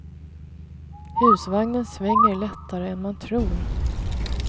Husvagnen svänger lättare än man tror.